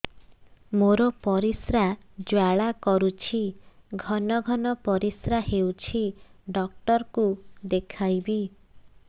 ମୋର ପରିଶ୍ରା ଜ୍ୱାଳା କରୁଛି ଘନ ଘନ ପରିଶ୍ରା ହେଉଛି ଡକ୍ଟର କୁ ଦେଖାଇବି